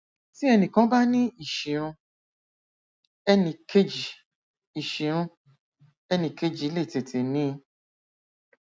tí ẹnìkan bá ní ìṣìrun ẹnìkejì ìṣìrun ẹnìkejì le tètè ní i